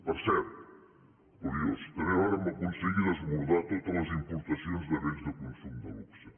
per cert curiós també vàrem aconseguir desbordar totes les importacions de béns de consum de luxe